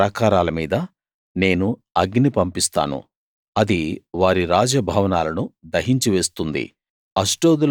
Gaza ప్రాకారాల మీద నేను అగ్ని పంపిస్తాను అది వారి రాజ భవనాలను దహించి వేస్తుంది